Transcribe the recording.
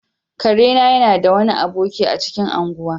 Kare na yana da wani aboki a cikin ungwan.